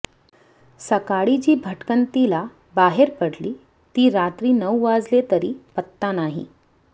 सकाळी जी भटकंतीला बाहेर पडली ती रात्री नऊ वाजले तरी पत्ता नाही